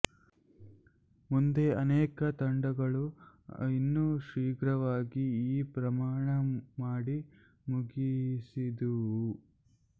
ಮುಂದೆ ಅನೇಕ ತಂಡಗಳು ಇನ್ನೂ ಶೀಘ್ರವಾಗಿ ಈ ಪ್ರಯಾಣ ಮಾಡಿ ಮುಗಿಸಿದುವು